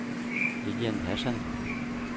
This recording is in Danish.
Lilian Hassan